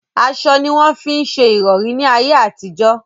Aṣọ ní wọ́n fí ń se ìrọ̀rí ní ayé àtijọ́.